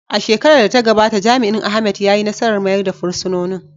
A shekarar da ta gabata, jami’in Ahmed ya yi nasarar mayar da fursunonin.